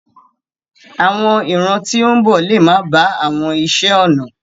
Àwọn ìran tí ń bọ̀ lè máa ba àwọn iṣé ọnà.